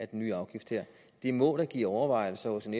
den nye afgift her det må da give overvejelser hos en